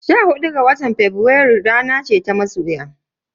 Sha hudu ga watan Fabrairu rana ce ta masoya.